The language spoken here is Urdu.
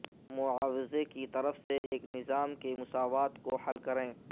معاوضہ کی طرف سے ایک نظام کے مساوات کو حل کریں